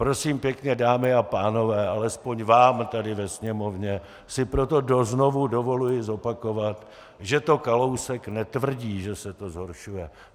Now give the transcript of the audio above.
Prosím pěkně, dámy a pánové, alespoň vám tady ve Sněmovně si proto znovu dovoluji zopakovat, že to Kalousek netvrdí, že se to zhoršuje.